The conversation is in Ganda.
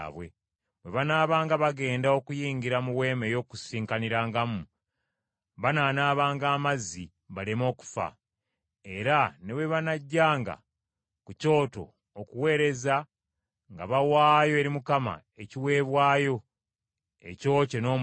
Bwe banaabanga bagenda okuyingira mu Weema ey’Okukuŋŋaanirangamu, banaanaabanga amazzi, baleme okufa. Era ne bwe banajjanga ku kyoto okuweereza nga bawaayo eri Mukama ekiweebwayo ekyokye n’omuliro,